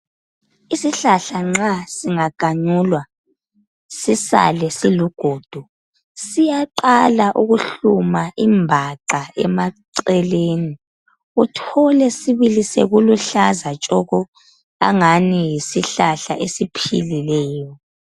Isihlahla nxa singaganyulwa sisale siligodo siyaqala ukuhluma ibhaca emaceleni uthole sibili sokuluhlaza tshoko angani yisihlahla esiphilileyo.